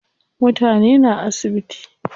Mutane na asibiti.